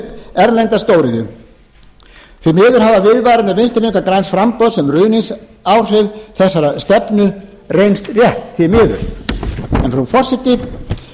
erlenda stóriðju því miður hafa viðvaranir vinstri hreyfinginnnar græns framboðs um ruðningsáhrif þessarar stefnu reynst rétt því miður en frú forseti